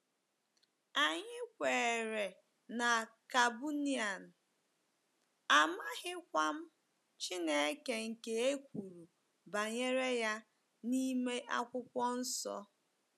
Anyị kweere na Kabunian, amaghịkwa m Chineke nke e kwuru banyere ya n'ime Akwụkwọ Nsọ. ”